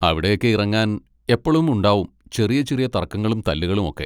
അവിടെയൊക്കെ ഇറങ്ങാൻ എപ്പളും ഉണ്ടാവും ചെറിയ ചെറിയ തർക്കങ്ങളും തല്ലുകളുമൊക്കെ.